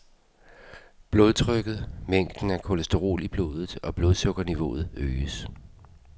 Blodtrykket, mængden af kolesterol i blodet og blodsukkerniveauet øges.